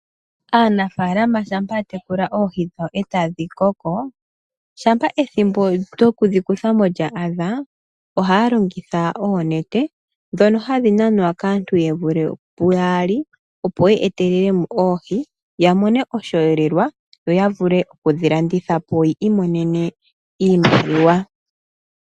Aanafaalama shampa yatekula oohi dhawo etadhi koko, shampa ethimbo lyokudhikuthamo lya adha, ohaya longitha oonete dhono hadhi nanwa kaantu yevulithe puyaali opo dhi etelelemo oohi. Yamone oshiyelelwa yo yavule okudhi landithapo yimonene oshimaliwa.